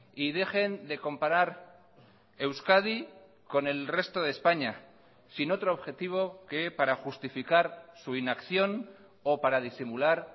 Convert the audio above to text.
y dejen de comparar euskadi con el resto de españa sin otro objetivo que para justificar su inacción o para disimular